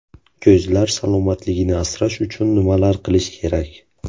Ko‘zlar salomatligini asrash uchun nimalar qilish kerak?.